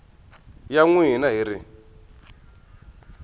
ya n wina hi ri